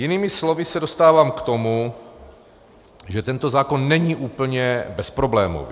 Jinými slovy se dostávám k tomu, že tento zákon není úplně bezproblémový.